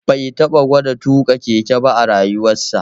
Bai taɓa gwada tuƙa keke ba a rayuwarsa